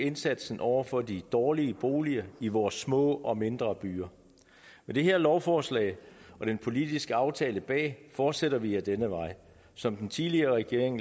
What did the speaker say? indsatsen over for de dårlige boliger i vores små og mindre byer med det her lovforslag og den politiske aftale bag fortsætter vi ad denne vej som den tidligere regering